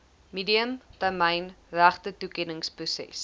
medium termyn regtetoekenningsproses